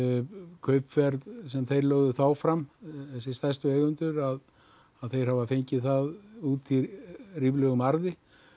kaupverð sem þeir lögðu þá fram þessir stærstu eigendur þeir hafa fengið það út í ríflegum arði